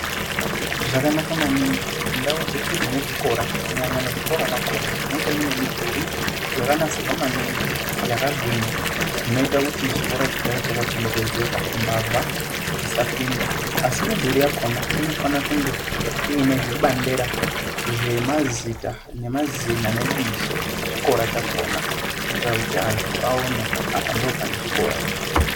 Zvakanaka maningi kuti ndau dzeshe dzine zvikora kunyanya muzvikora mwachona munge mune midhuri yakagwinya inoita kuti chikora chigare chakachengetedzeka mbavha dzisapinda asimidhuri yakona inofana kunge one zvibandera zvemazita nemazina nebizo rechikora chakona kuita kuti antu aone kuti apa ndipo pane chikora.